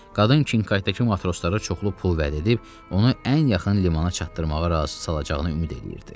Qadın Kinqaytda matroslara çoxlu pul vəd edib onu ən yaxın limana çatdırmağa razı sala biləcəyini ümid eləyirdi.